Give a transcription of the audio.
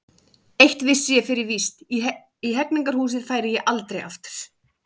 Eitt vissi ég fyrir víst: í Hegningarhúsið færi ég aldrei aftur.